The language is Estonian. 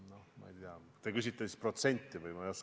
Te küsite minult tõenäosuse protsenti või?